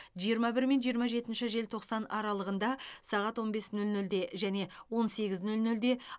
жиырма бір мен жиырма жетінші желтоқсан аралығында сағат он бес нөл нөлде және он сегіз нөл нөлде